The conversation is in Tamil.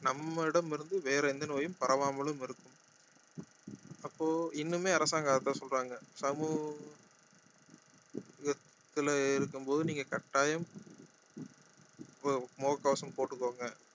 நம்மிடமிருந்து வேற எந்த நோயும் பரவாமலும் இருக்கும் அப்போ இன்னுமே அரசாங்கம் அதை தான் சொல்றாங்க சமுகத்துல இருக்கும் போது நீங்க கட்டாயம் முக~ முக கவசம் போட்டுக்கோங்க